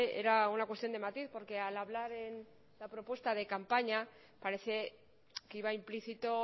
era una cuestión de matiz porque al hablar en la propuesta de campaña parece que iba implícito